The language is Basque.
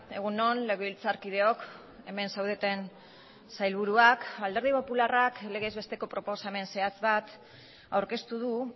egun on legebiltzarkideok hemen zaudeten sailburuak alderdi popularrak legez besteko proposamen zehatz bat aurkeztu du